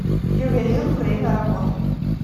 ювелир время работы